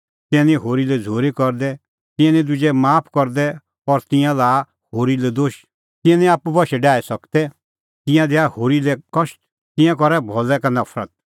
तिंयां निं होरी लै झ़ूरी करदै तिंयां निं दुजै माफ करदै और तिंयां लाआ होरी लै दोश तिंयां निं आप्पू बशै डाही सकदै तिंयां दैआ होरी लै कष्ट ईंयां करा भलै का नफरत